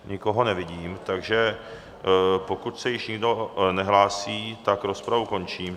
Nikoho nevidím, takže pokud se již nikdo nehlásí, tak rozpravu končím.